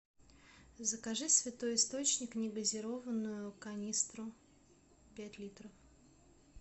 закажи святой источник негазированную канистру пять литров